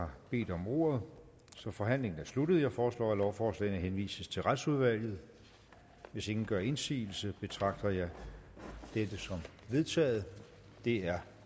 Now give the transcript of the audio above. har bedt om ordet så forhandlingen er sluttet jeg foreslår at lovforslagene henvises til retsudvalget hvis ingen gør indsigelse betragter jeg dette som vedtaget det er